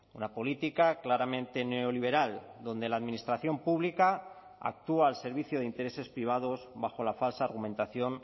una política claramente neoliberal donde la administración pública actúa al servicio de intereses privados bajo la falsa argumentación